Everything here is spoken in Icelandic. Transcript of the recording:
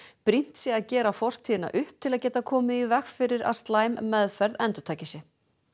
brýnt sé að gera fortíðina upp til að geta komið í veg fyrir að slæm meðferð endurtaki sig